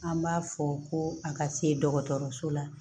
An b'a fɔ ko a ka se dɔgɔtɔrɔso la